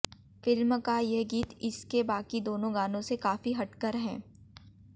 film का ये गीत इसके बाकी दोनों गानों से काफी हटकर है